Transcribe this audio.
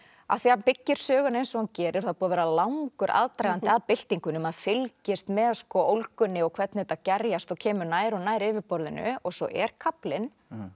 af því hann byggir söguna eins og hann gerir það er búinn að vera langur aðdragandi að byltingunni maður fylgist með ólgunni og hvernig þetta gerjast og kemur nær og nær yfirborðinu og svo er kaflinn